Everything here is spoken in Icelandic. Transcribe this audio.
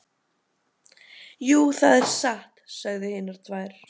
Jú, það er satt, sögðu hinar tvær.